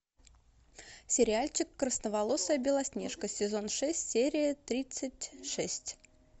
сериальчик красноволосая белоснежка сезон шесть серия тридцать шесть